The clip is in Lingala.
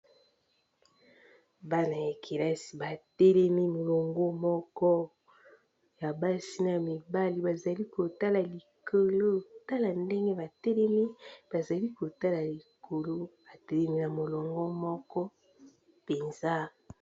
bana ya kelasi batelemi molongo moko ya basi na mibale bazali kotala likolo tala ndenge batelemi bazali kotala likolo batelemi na molongo moko penza